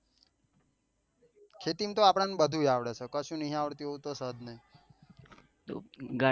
ખેતી માં તો આપડો ને બધું જ આવડે છે કશું નહિ આવડતું એવું તો છે જ નહિ